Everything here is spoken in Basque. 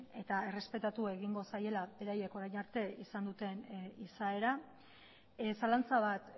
eta errespetatu egingo zaiela beraiek orain arte izan duten izaera zalantza bat